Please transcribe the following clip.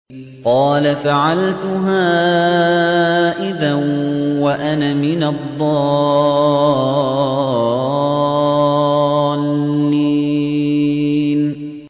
قَالَ فَعَلْتُهَا إِذًا وَأَنَا مِنَ الضَّالِّينَ